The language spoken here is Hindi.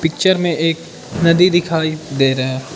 पिक्चर में एक नदी दिखाई दे रहा--